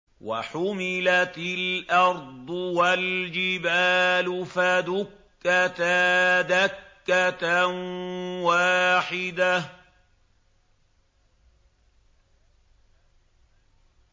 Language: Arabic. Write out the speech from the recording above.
وَحُمِلَتِ الْأَرْضُ وَالْجِبَالُ فَدُكَّتَا دَكَّةً وَاحِدَةً